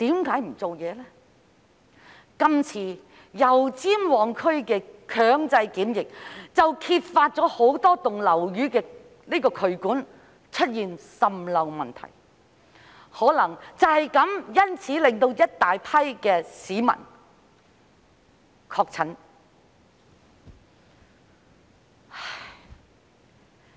今次油尖旺區的強制檢疫，揭發了很多樓宇的渠管出現滲漏問題，可能因此令大批市民確診。